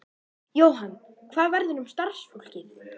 Jóhann: Hvað verður um starfsfólkið?